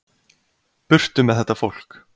Burtu með þetta fólk.